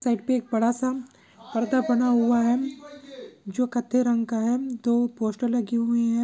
Site पे एक बडासा पर्दा बना हुआ है जो काथे रंग का है दो पोस्टर लगे हुए है।